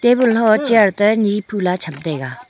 tebul ho chair ta ni phula cham taiga.